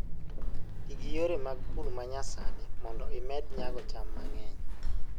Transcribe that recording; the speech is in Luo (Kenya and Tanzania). Ti gi yore mag pur ma nyasani mondo imed nyago cham mang'eny